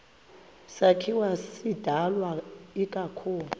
sakhiwo sidalwe ikakhulu